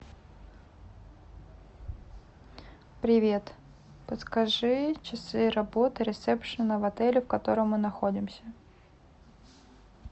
привет подскажи часы работы ресепшена в отеле в котором мы находимся